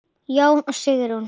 Jón og Sigrún.